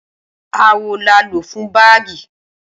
Awọ la o lo fún báágì